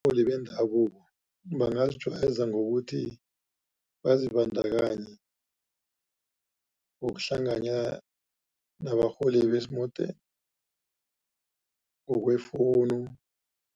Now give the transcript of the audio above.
Abarholi bendabuko bangazijayeza ngokuthi, bazibandakanye ngokuhlanganya nabarholi besimodeni ngokwefowunu.